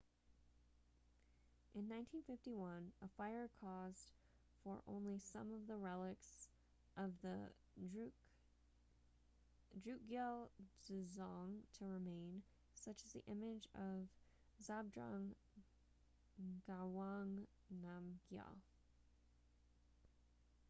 in 1951 a fire caused for only some of the relics of the drukgyal dzong to remain such as the image of zhabdrung ngawang namgyal